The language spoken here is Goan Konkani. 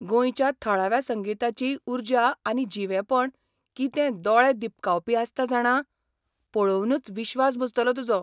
गोंयच्या थळाव्या संगिताची उर्जा आनी जिवेपण कितें दोळे दिपकावपी आसता जाणा, पळोवनूच विश्वास बसतलो तुजो.